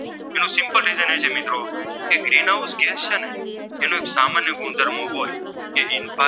ગુણધર્મો હોય જે